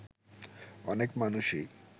অনেক মানুষই